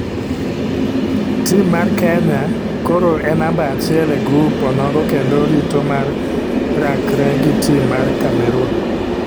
Tim mar piny kenya koro e namba achiel e grup onogo kendo rito mar rakke gi tim mar cameroon.